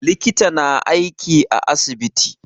Likita na aiki a asibiti